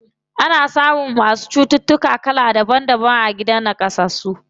Ana samun masu cututtuka kala kala a gidan naƙasassu.